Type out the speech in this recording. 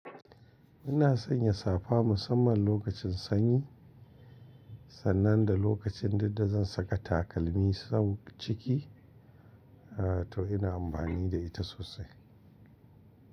Ina sanya safa musamman lokacin sanyi, sannan da lokacin dudda zan saka takalmi sau ciki, to ina amfani da ita sosai.